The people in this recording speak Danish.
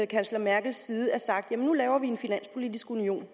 kansler merkels side er blevet sagt nu laver vi en finanspolitisk union